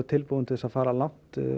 tilbúið til að fara langt